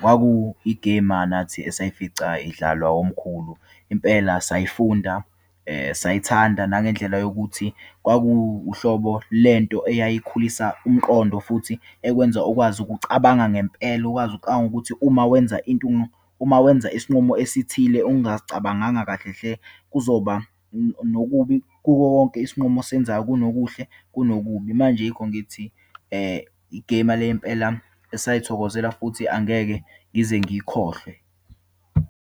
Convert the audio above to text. Kwakuyigeyima nathi esayifica idlalwa omkhulu. Impela sayifunda, siyithanda nangendlela yokuthi kwakuwuhlobo lento eyayikhulisa umqondo, futhi ekwenza ukwazi ukucabanga ngempela, ukwazi ucabanga ukuthi uma wenza into uma wenza isinqumo esithile ungasicabanganga kahle hle, kuzoba nokubi. Kukonke isinqumo osenzayo kunobuhle, kunokubi. Manje, yikho ngithi igeyima le impela esayithokozela futhi angeke ngize ngiyikhohlwe.